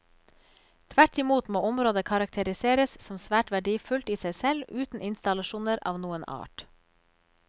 Tvert imot må området karakteriseres som svært verdifullt i seg selv uten installasjoner av noen art.